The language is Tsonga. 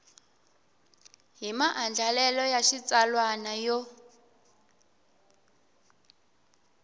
hi maandlalelo ya xitsalwana yo